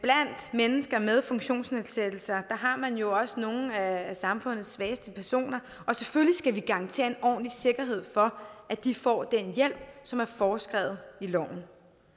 mennesker med funktionsnedsættelser har man jo også nogle af samfundets svageste personer og selvfølgelig skal vi garantere en ordentlig sikkerhed for at de får den hjælp som er foreskrevet i loven